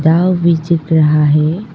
दाव भी चल रहा है।